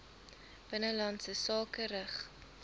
binnelandse sake rig